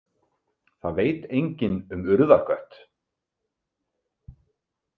Það veit enginn um Urðarkött.